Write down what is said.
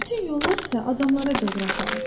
Bütün yollar isə adamlara doğru aparır.